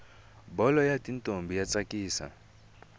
bholo yatintombi yatsakisa